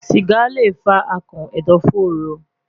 Siga le fa akàn ẹdọfóró